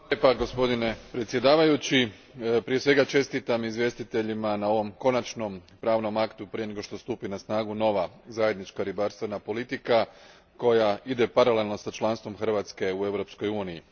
Gospodine predsjedavajući, prije svega, čestitam izvjestiteljima na ovom konačnom pravnom aktu prije nego što stupi na snagu nova zajednička ribarstvena politika koja ide paralelno sa članstvom Hrvatske u Europskoj uniji.